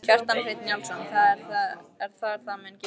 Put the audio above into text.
Kjartan Hreinn Njálsson: Það er það mun gerast?